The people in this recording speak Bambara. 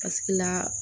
Paseke la